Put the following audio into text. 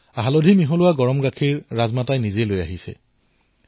হালধিমিশ্ৰিত গাখীৰ তেওঁ নিজে লৈ আহিছিল